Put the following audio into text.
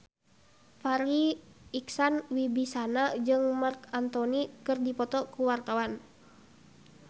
Farri Icksan Wibisana jeung Marc Anthony keur dipoto ku wartawan